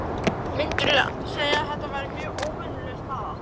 Myndirðu segja að þetta væri mjög óvenjuleg staða?